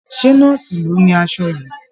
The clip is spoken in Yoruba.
Ṣé nọ́ọ̀sì ló ni aṣọ yìí?